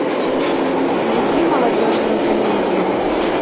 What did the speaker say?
найди молодежную комедию